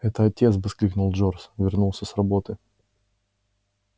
это отец воскликнул джордж вернулся с работы